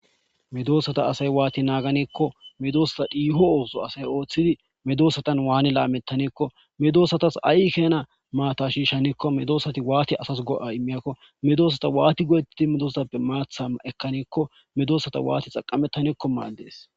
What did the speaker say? Medoossata asay waati naaganeekko medoossata dhiiho ooso asay ooththidi medoosatan waani laamettaneekko medoosatas ai keena maata shiishaneekko medoosati waati asas go'a immiyakko medoossata waati godettidi medoosatappe maatha ekkaneekko medoossata waati xaqamettaneekko maaldees.